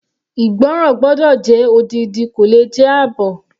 Ìgbọ́ràn gbọ́dọ̀ jẹ́ odidi kò le jẹ́ àbọ̀.